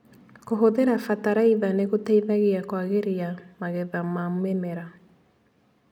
Kũhũthĩra bataraitha nĩgũteithagia kwagĩria magetha ma mĩmera.